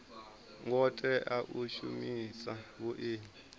ngo tea u shumisa vhuimo